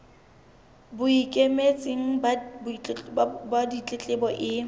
bo ikemetseng ba ditletlebo e